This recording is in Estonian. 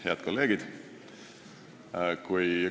Head kolleegid!